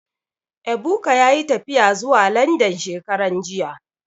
Ebuka yayi tafiya zuwa Landan shekaran jiya